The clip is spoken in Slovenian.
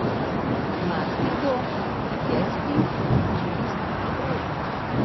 Marsikdo, ki dlje spi, pa si želi vstati prej.